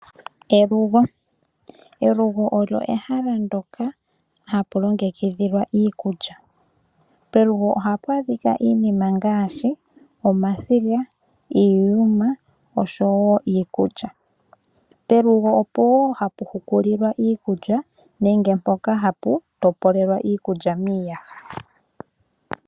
Elugo, elugo olyo ehala ndoka hapu longekidhilwa iikulya. Pelugo ohapu adhika iinima ngaashi omasiga, iiyuma oshowo iikulya. Pelugo opo wo hapu hukulilwa iikulya nenge mpoka hapu topolelwa iikulya miiyaha.